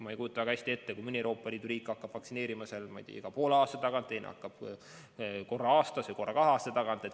Ma ei kujuta väga hästi ette, et mõni Euroopa Liidu riik hakkab vaktsineerima, ma ei tea, iga poole aasta tagant, teine hakkab korra aastas või korra kahe aasta tagant.